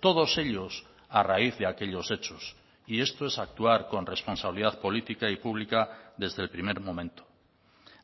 todos ellos a raíz de aquellos hechos y esto es actuar con responsabilidad política y pública desde el primer momento